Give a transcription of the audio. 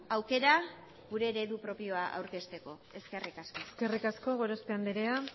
aukera gure eredu propioa aurkezteko eskerrik asko eskerrik asko gorospe andrea